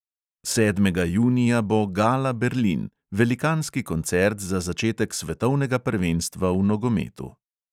Sedmega junija bo gala berlin, velikanski koncert za začetek svetovnega prvenstva v nogometu.